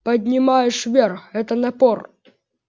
поднимаешь вверх это напор